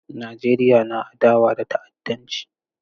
Najeriya na adawa da ta'addanci.